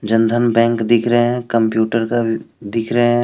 Jan Dhan bank दिख रहे हैं कंप्यूटर का भी दिख रहे हैं।